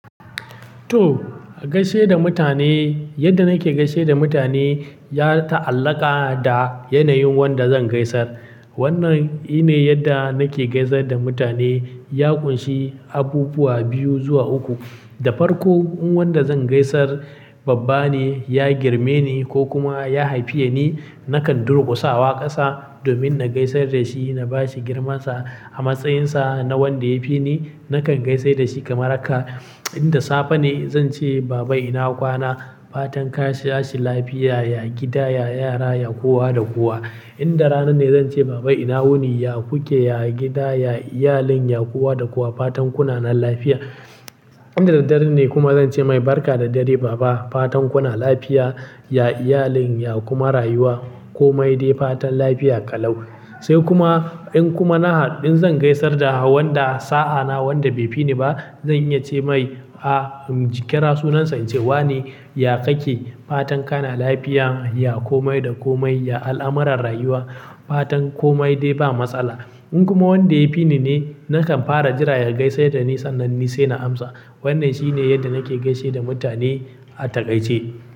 To, gaishe da mutane, yadda nake gaishe da mutane ya ta'allaka da yanayin wanda zan gaisar. Wannan shi ne yadda nake gaisar da mutane. Ya ƙunshi abubuwa biyu zuwa uku. Da farko, in wanda zan gaisar babba ne, ya girme ni ko kuma ya haifiya ni, nakan durƙusawa ƙasa domin na gaisar da shi na bashi girmansa a matsayinsa na wanda ya fi ni. Nakan gaisar da shi kamar haka. In da safe ne zan ce: "Baba ina kwana? Fatan ka shi lafiya, ya gida, ya yara, ya kowa da kowa." In da rana ne zan ce: "Baba ina wuni? Ya ku ke, ya gida, ya iyalin, ya kowa da kowa. Fatan kuna nan lafiya." In da dare ne kuma zan ce: "Mai barka da dare baba. Fatan kuna lafiya, ya iyalin, ya kuma rayuwa komai dai. Fatan lafiya ƙalau." Sai kuma in kuma na haɗ, in zan gaisar da wanda sa'a na wanda bai fi ni ba, zan iya ce mai: "A, jikira sunansa in ce wane, ya kake? Fatan kana lafiya, ya komai da komai, ya al'amarran rayuwa. Fatan komai dai ba matsala." In kuma wanda ya fi ni ne, nakan fara jira ya gaisar da ni sannan ni sai na amsa. Wannan shine yadda nake gaishe da mutane a takaice.